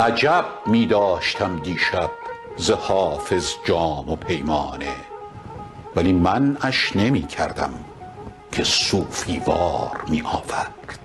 عجب می داشتم دیشب ز حافظ جام و پیمانه ولی منعش نمی کردم که صوفی وار می آورد